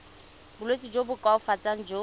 bolwetsi jo bo koafatsang jo